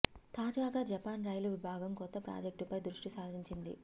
తాజాగా జపాన్ రైలు విభాగం కొత్త ప్రాజెక్టు పై దృష్టి సారించింది